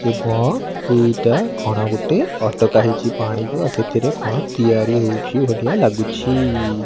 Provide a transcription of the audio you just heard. ଏବଂ ଏଇଟା କଣ ଗୋଟେ ଅଟକା ହେଇଚି ପାଣି ବା ସେଥିରେ କଣ ତିଆରି ହଉଚି ଭଳିଆ ଲାଗୁଚି।